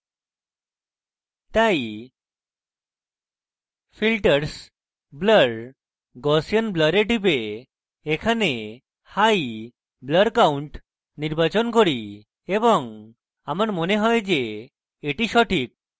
তাই filters blur gaussian blur এ টিপে এখানে high হাই blur count নির্বাচন করি এবং আমার মনে হয় যে এটি সঠিক